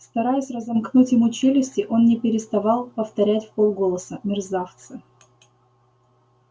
стараясь разомкнуть ему челюсти он не переставал повторять вполголоса мерзавцы